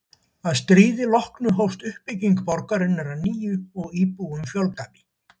Að stríði loknu hófst uppbygging borgarinnar að nýju og íbúum fjölgaði.